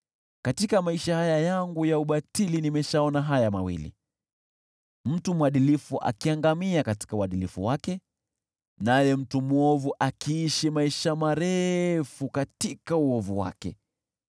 Katika maisha haya yangu ya ubatili nimeshaona haya mawili: mtu mwadilifu akiangamia katika uadilifu wake, naye mtu mwovu akiishi maisha marefu katika uovu wake.